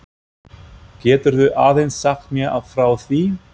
Geturðu aðeins sagt mér frá því?